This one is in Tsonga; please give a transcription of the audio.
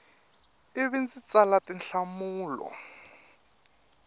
i vi ndzi tsala tinhlamulo